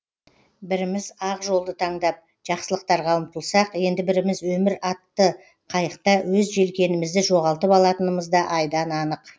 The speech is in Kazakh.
біріміз ақ жолды таңдап жақсылықтарға ұмтылсақ енді біріміз өмір атты қайықта өз желкенімізді жоғалтып алатынымыз да айдан анық